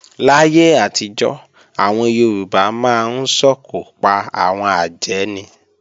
Láyé àtijọ́, àwọn Yorùbá máa ń sòkò pa àwọn àjẹ́ ni